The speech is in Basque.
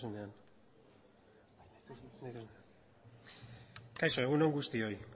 kaixo egun on guztioi